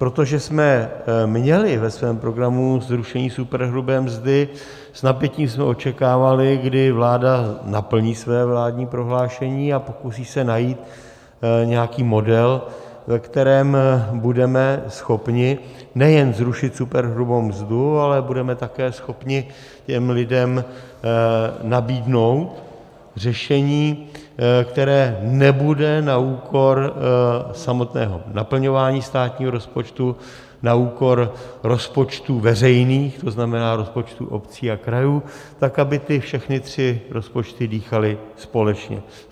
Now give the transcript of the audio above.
Protože jsme měli ve svém programu zrušení superhrubé mzdy, s napětím jsme očekávali, kdy vláda naplní své vládní prohlášení a pokusí se najít nějaký model, ve kterém budeme schopni nejenom zrušit superhrubou mzdu, ale budeme také schopni těm lidem nabídnout řešení, které nebude na úkor samotného naplňování státního rozpočtu, na úkor rozpočtů veřejných, to znamená rozpočtů obcí a krajů, tak aby ty všechny tři rozpočty dýchaly společně.